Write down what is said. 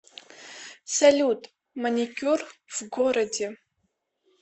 салют маникюр в городе